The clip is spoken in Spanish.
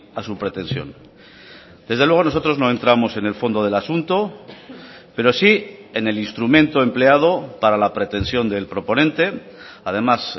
a su pretensión desde luego nosotros no entramos en el fondo del asunto pero sí en el instrumento empleado para la pretensión del proponente además